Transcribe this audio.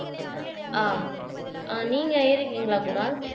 ஆஹ் ஆஹ் நீங்க ஏறிருக்கீங்களா குணால்